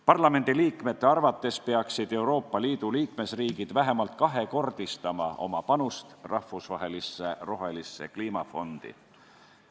Parlamendiliikmete arvates peaksid Euroopa Liidu liikmesriigid vähemalt kahekordistama oma panust rahvusvahelisse rohelisse kliimafondi.